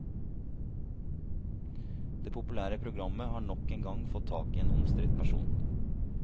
Det populære programmet har nok en gang fått tak i en omstridt person.